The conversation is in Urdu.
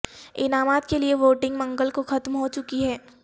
انعامات کے لیے ووٹنگ منگل کو ختم ہو چکی ہے